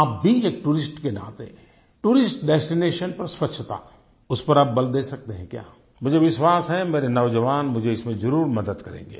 आप भी एक टूरिस्ट के नाते टूरिस्ट डेस्टिनेशन पर स्वच्छता उस पर आप बल दे सकते हैं क्या मुझे विश्वास है मेरे नौजवान मुझे इसमें जरूर मदद करेंगे